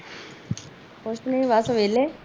ਕੁਛ ਨੀ ਬਸ ਵੇਹਲੇ